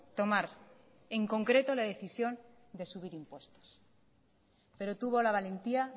tomar en concreto la decisión de subir impuestos pero tuvo la valentía